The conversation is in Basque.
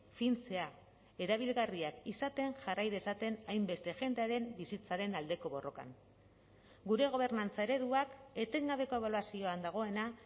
fintzea erabilgarriak izaten jarrai dezaten hainbeste jendearen bizitzaren aldeko borrokan gure gobernantza ereduak etengabeko ebaluazioan dagoena